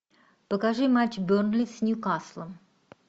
покажи матч бернли с ньюкаслом